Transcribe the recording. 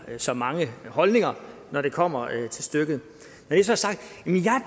så mange holdninger når det kommer til stykket når det så er sagt